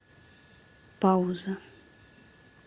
пауза